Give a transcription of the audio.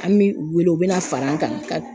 An bi u wele u bi na fara an kan ka